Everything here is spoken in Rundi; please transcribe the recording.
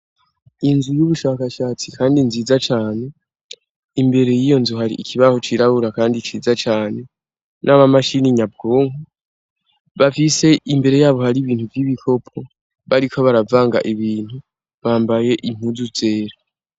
Inzu y'ubushakashatsi kandi nziza cane, imbere yiyo nzu hari ikibaho cirabura kandi ciza cane n'amamashini nyabwonko, bafise imbere yabo hari ibintu vy'ibikopo bariko baravanga ibintu, bambaye inpuzu zera.